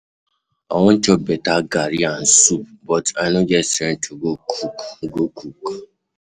I wan chop beta garri and soup but I no get strength to go cook go cook.